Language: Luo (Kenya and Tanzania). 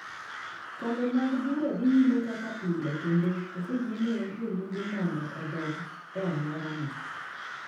Kombe mag bura dhi nyime kaka pile kendo oseyiene jolimbe mondo odok e alworano.